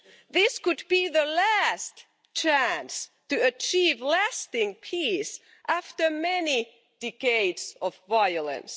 This could be the last chance to achieve lasting peace after many decades of violence.